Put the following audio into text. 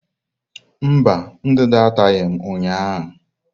Mba, ndanda ataghị m ụnyahụ.